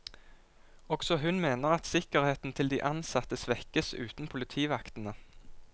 Også hun mener at sikkerheten til de ansatte svekkes uten politivaktene.